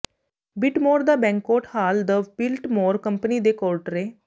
Biltmore ਦਾ banquet hall the Biltmore company ਦੇ ਕੋਰਟਰੇ